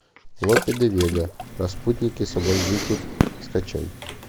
лопе де вега распутник и соблазнитель скачай